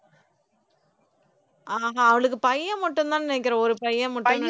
ஆஹா அவளுக்கு பையன் மட்டும்தான்னு நினைக்கிறேன் ஒரு பையன் மட்டும்தான்